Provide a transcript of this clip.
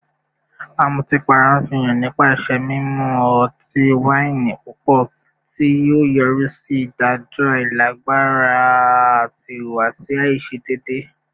Amutipara nfihan nipasẹ mimu ọti-waini pupọ, ti o yori si idajọ ailagbara ati ihuwasi aiṣedeede